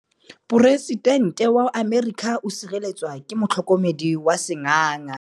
Poresitêntê wa Amerika o sireletswa ke motlhokomedi wa sengaga.